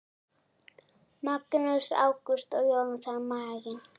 Magnús Ágúst og Jónatan Magni